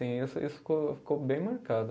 Isso isso ficou, ficou bem marcado.